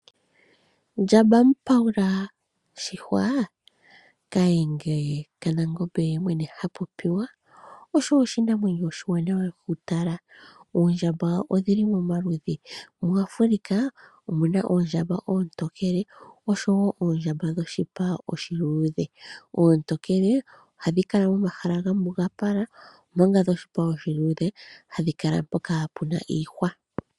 Ndjamba mpawula shihwa, kahenge kanangombe ye mwene ha popiwa , osho oshinamwenyo oshiwanawa okutala. Oondjamba odhili momaludhi, muAfrica omu na oondjamba oontokele osho wo oondjamba dhoshi pa oshiluudhe. Oontokele ohadhi kala momahala gamugapala omanga dhoshipa oshiluudhe hadhi kala mpoka pe na iihwa.